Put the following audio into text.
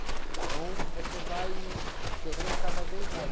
Então, você vai querendo cada vez mais.